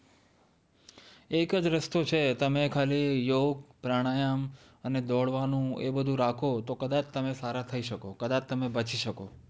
એક જ રસ્તો છે તમે ખાલી યોગ પ્રાણાયામ અને દોડવાનું એ બધું રાખો તો કદાચ તમે સારા થઇ શકો કદાચ તમે બચી શકો